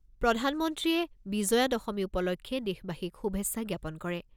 প্ৰধানমন্ত্ৰীয়ে বিজয়া দশমী উপলক্ষে দেশবাসীক শুভেচ্ছা জ্ঞাপন কৰে।